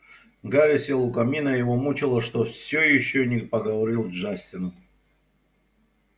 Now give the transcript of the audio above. гарри сел у камина его мучило что всё ещё не поговорил с джастином